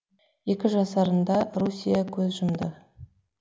екі жасарында русия көз жұмды